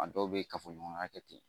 A dɔw bɛ kafoɲɔgɔnya kɛ ten